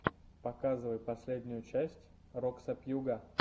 показывай последнюю часть роксо пьюга